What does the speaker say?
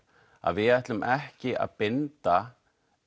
að við ætlum ekki að binda